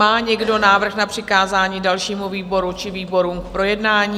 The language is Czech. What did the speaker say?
Má někdo návrh na přikázání dalšímu výboru či výborům k projednání?